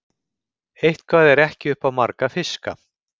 Eitthvað er ekki upp á marga fiska